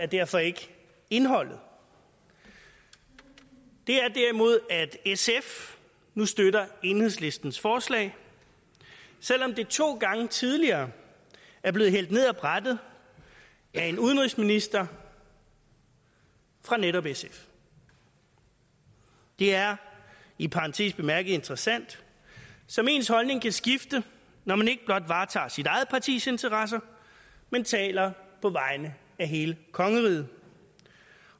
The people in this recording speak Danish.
derfor ikke indholdet det er derimod at sf nu støtter enhedslistens forslag selv om det to gange tidligere er blevet hældt ned af brættet af en udenrigsminister fra netop sf det er i parentes bemærket interessant som ens holdning kan skifte når man ikke blot varetager sit eget partis interesser men taler på vegne af hele kongeriget